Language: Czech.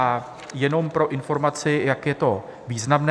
A jenom pro informaci, jak je to významné.